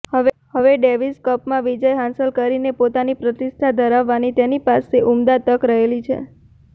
હવે ડેવિસ કપમાં વિજય હાંસલ કરીને પોતાની પ્રતિષ્ઠા વધારવાની તેની પાસે ઉમદા તક રહેલી છે